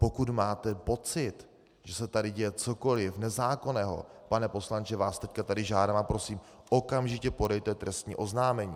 Pokud máte pocit, že se tady děje cokoliv nezákonného, pane poslanče, vás teď tady žádám a prosím, okamžitě podejte trestní oznámení.